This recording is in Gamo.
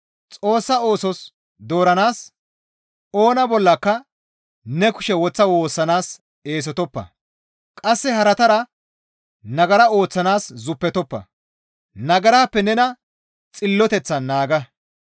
Xoossa oosos dooranaas, oona bollaka ne kushe woththa woossanaas eesotoppa; qasse haratara nagara ooththanaas zuppetoppa; nagarappe nena xilloteththan naaga.